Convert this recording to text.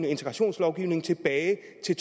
integrationslovgivningen tilbage